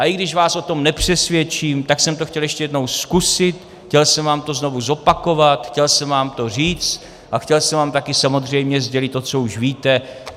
A i když vás o tom nepřesvědčím, tak jsem to chtěl ještě jednou zkusit, chtěl jsem vám to znovu zopakovat, chtěl jsem vám to říct a chtěl jsem vám také samozřejmě sdělit to, co už víte.